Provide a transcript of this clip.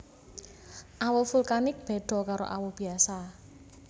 Awu vulkanik beda karo awu biasa